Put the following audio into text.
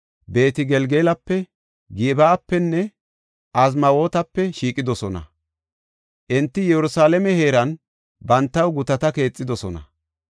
Beet-Gelgalape, Gib7apenne Azmaawetape shiiqidosona. Enti Yerusalaame heeran bantaw gutata keexidosona.